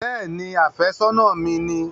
Bẹ́ẹ̀ni, àfẹ́sọ́nà ni mi